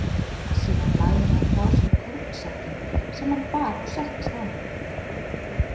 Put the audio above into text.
Síðan lagði hann frá sér kornsekkinn sem hann bar og settist á hann.